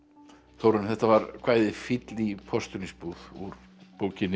Þórarinn þetta var kvæðið fíll í postulínsbúð úr bókinni